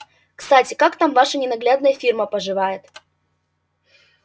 кстати как там ваша ненаглядная фирма поживает